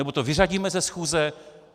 Nebo to vyřadíme ze schůze?